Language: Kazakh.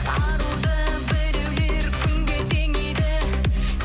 аруды біреулер күнге теңейді